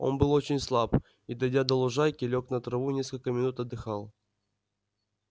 он был очень слаб и дойдя до лужайки лёг на траву и несколько минут отдыхал